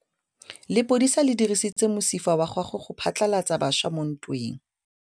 Lepodisa le dirisitse mosifa wa gagwe go phatlalatsa batšha mo ntweng.